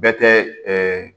Bɛ tɛ ɛɛ